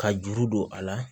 Ka juru don a la